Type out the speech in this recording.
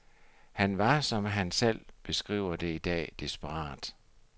Han var, som han selv beskriver det i dag, desperat.